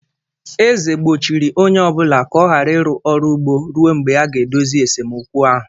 Eze gbochiri onye ọ bụla ka ọ ghara ịrụ ọrụ ugbo ruo mgbe a ga-edozi esemokwu ahụ